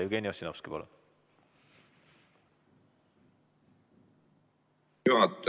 Jevgeni Ossinovski, palun!